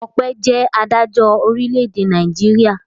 Ọpẹ́ jẹ́ adájọ́ orílẹ̀-èdè Nàìjíríà.